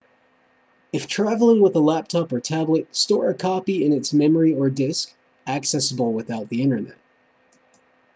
if traveling with a laptop or tablet store a copy in its memory or disc accessible without the internet